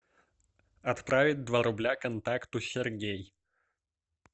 отправить два рубля контакту сергей